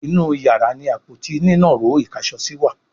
inú iyàrá ní Àpótí nínàró ìkáṣọsí wá.